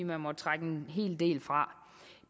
må trække en hel del fra